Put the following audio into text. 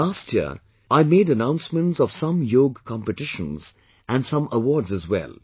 Last year, I made announcements of some Yoga competitions and some awards as well